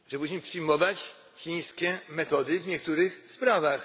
Musimy przyjmować chińskie metody w niektórych sprawach.